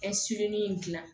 in gilan